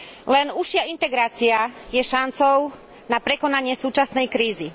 Len užšia integrácia je šancou na prekonanie súčasnej krízy.